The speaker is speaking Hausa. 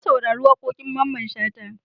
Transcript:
Na saurari waƙoƙin Mamman Shata.